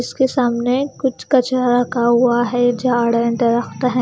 इसके सामने कुछ कचरा रखा हुआ है झाड़ है दरकत है।